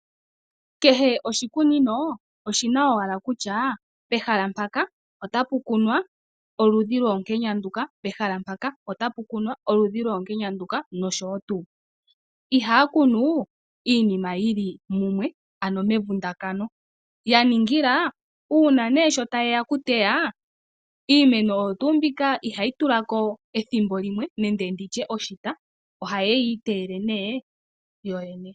Kehe oshikunino oshina owala kutya pehala mpaka otapu kunwa oludhi lwoonkenya nduka, pehala mpaka otapu kunwa oludhi nduka noshowo tuu. Ihaya kunu iinima yili mumwe, ano mevundakano, ya ningila uuna nee sho taye ya oku teya iimeno oyo tuu mbika ihayi tula ko ethimbo limwe nenge nditye oshita, ohaye yi iteyele nee yoyene.